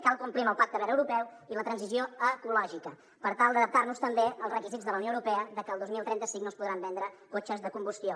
cal complir amb el pacte verd europeu i la transició ecològica per tal d’adaptar nos també als requisits de la unió europea de que el dos mil trenta cinc no es podran vendre cotxes de combustió